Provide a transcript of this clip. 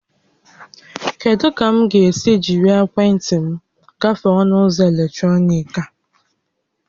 Kedụ ka m ga-esi jírí ekwentị m gafee ọnụ ụzọ eletrọnịkị a?